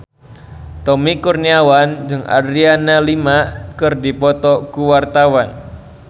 Tommy Kurniawan jeung Adriana Lima keur dipoto ku wartawan